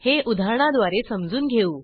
हे उदाहरणाद्वारे समजून घेऊ